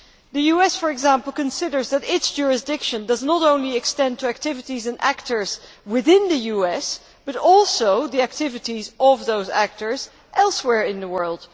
The US, for example, considers that its jurisdiction does not only extend to activities and actors within the US, but also the activities of such actors elsewhere in the world.